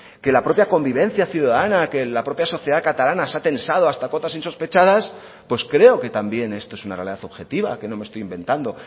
que la propia convivencia ciudadana que la propia sociedad catalana se ha tensado hasta cotas insospechadas pues creo que también esto es una realidad objetiva que no me estoy inventando